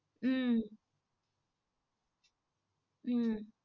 உம் உம்